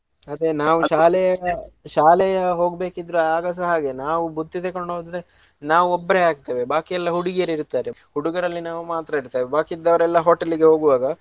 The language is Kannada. ಅದೆ ನಾವ್ ಶಾಲೆ ಶಾಲೆಯ ಹೋಗ್ಬೇಕಿದ್ರ ಆಗಸಹ ಹಾಗೆ ನಾವು ಬುತ್ತಿ ತೆಕೊಂಡೋದ್ರೆ ನಾವ್ ಒಬ್ರೆ ಆಗ್ತೇವೆ ಬಾಕಿ ಎಲ್ಲ ಹುಡುಗಿಯರಿರ್ತಾರೆ. ಹುಡುಗರಲ್ಲಿ ನಾವ್ ಮಾತ್ರ ಇರ್ತೆವ್ ಬಾಕಿ ಇದ್ದವರೆಲ್ಲ hotel ಗೆ ಹೋಗುವಾಗ.